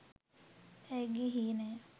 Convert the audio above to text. ඇයගේ හීනය